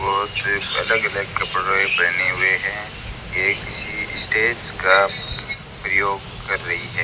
बहोत ही अलग अलग कपड़े पहने हुए है ये किसी स्टेज का प्रयोग कर रही है।